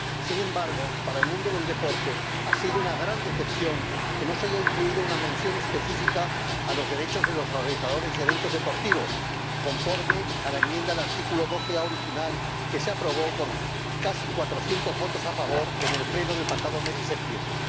Sin embargo, para el mundo del deporte ha sido una gran decepción que no se haya incluido una mención específica a los derechos de los organizadores de eventos deportivos, conforme a la enmienda al artículo 12 bis original, que se aprobó por casi cuatrocientos votos a favor en el Pleno del pasado mes de septiembre.